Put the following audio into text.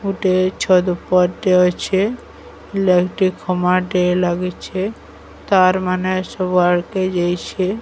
ଗୁଟେ ଛତ୍ ଉପର୍ ଟେ ଅଛେ। ଲାଇଟ୍ ଖମାଟେ ଲାଗିଛେ। ତାର ମାନେ ସବୁଆଡ଼େକେ ଯାଇଛେ।